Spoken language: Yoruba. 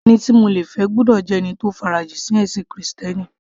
Ẹni tí mo le fẹ́ gbọ́dọ̀ jẹ́ ẹni tó farajìn sí ẹ̀sìn krìstẹ́nì